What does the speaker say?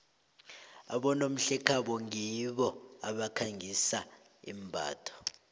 abonomhlekhabo ngibo abakhangisa imbatho